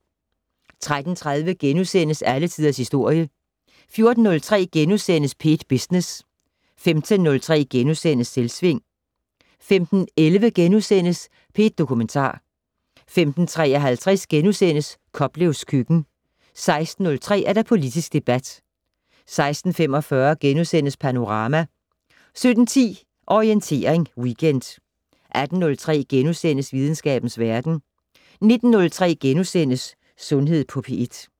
13:30: Alle Tiders Historie * 14:03: P1 Business * 15:03: Selvsving * 15:11: P1 Dokumentar * 15:53: Koplevs køkken * 16:03: Politisk debat 16:45: Panorama * 17:10: Orientering Weekend 18:03: Videnskabens Verden * 19:03: Sundhed på P1 *